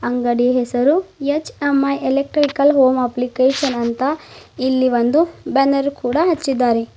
ಅಂಗಡಿ ಹೆಸರು H M I electrical home application ಅಂತ ಇಲ್ಲಿ ಒಂದು ಬ್ಯಾನರ್ ಕೂಡ ಹಚ್ಚಿದ್ದಾರೆ.